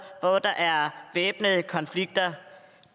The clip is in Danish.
hvor der er væbnede konflikter